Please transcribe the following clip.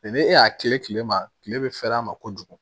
ni e y'a kilen kilema kile bɛ fɛɛrɛ a ma kojugu